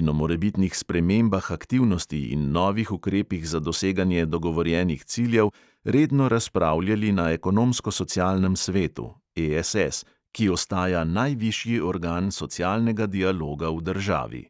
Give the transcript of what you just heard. in o morebitnih spremembah aktivnosti in novih ukrepih za doseganje dogovorjenih ciljev redno razpravljali na ekonomsko-socialnem svetu ki ostaja najvišji organ socialnega dialoga v državi.